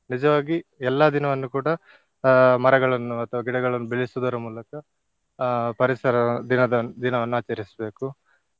ನಿಜವಾಗಿ ಎಲ್ಲಾ ದಿನವನ್ನು ಕೂಡ ಅಹ್ ಮರಗಳನ್ನು ಅಥವಾ ಗಿಡಗಳನ್ನು ಬೆಳೆಸುವುದರ ಮೂಲಕ ಅಹ್ ಪರಿಸರ ದಿನದ~ ದಿನವನ್ನು ಆಚರಿಸ್ಬೇಕು.